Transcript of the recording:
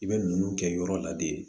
I bɛ nunnu kɛ yɔrɔ la de